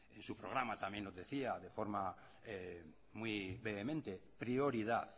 en su programa también nos decía de forma muy vehemente prioridad